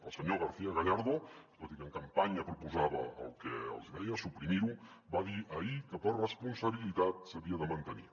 el senyor garcía gallardo tot i que en campanya proposava el que els hi deia suprimir ho va dir ahir que per responsabilitat s’havia de mantenir